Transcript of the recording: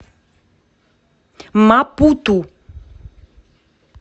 мапуту